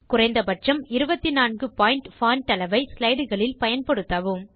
குறைந்த பட்சம் 24 point font அளவை slideகளில் பயன்படுத்தவும்